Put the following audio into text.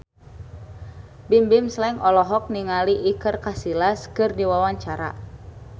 Bimbim Slank olohok ningali Iker Casillas keur diwawancara